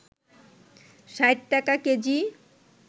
৬০ টাকা কেজি